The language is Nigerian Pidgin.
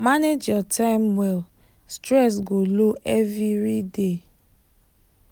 manage your time well stress go low everiday